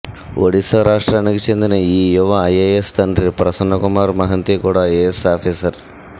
ఒడిశా రాష్ట్రానికి చెందిన ఈ యువ ఐఏఎస్ తండ్రి ప్రసన్నకుమార్ మహంతి కూడా ఐఏఎస్ ఆఫీసర్